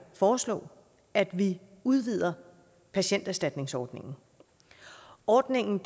foreslå at vi udvider patienterstatningsordningen ordningen